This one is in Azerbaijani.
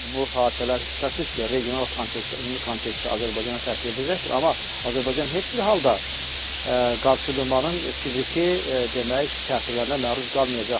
Bu hadisələr şübhəsiz ki, regional kontekstdə, ümumi kontekstdə Azərbaycana təsir edəcəkdir, amma Azərbaycan heç bir halda qarşıdurmanın fiziki, demək, təsirlərinə məruz qalmayacaqdır.